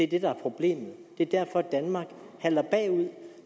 det der er problemet det er derfor danmark halter bagud